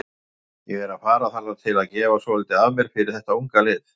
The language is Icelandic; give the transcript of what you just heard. Ég er að fara þarna til að gefa svolítið af mér fyrir þetta unga lið.